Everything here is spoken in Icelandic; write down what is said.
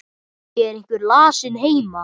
Er einhver lasinn heima?